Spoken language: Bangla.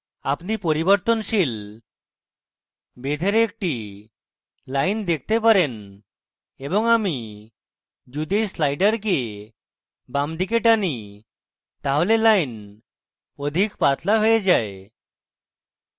আপনি পরিবর্তনশীল বেধের একটি line দেখতে পারেন এবং আমি যদি you sliders বাঁদিকে টানি তাহলে line অধিক পাতলা হয়ে যায়